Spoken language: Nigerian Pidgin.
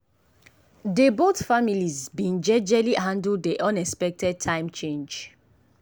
dey both families been jejely handle dey unexpected time change.